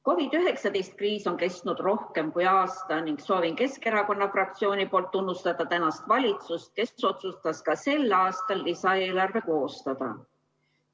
COVID-19 kriis on kestnud rohkem kui aasta ning soovin Keskerakonna fraktsiooni nimel tunnustada praegust valitsust, kes otsustas ka sel aastal lisaeelarve koostada.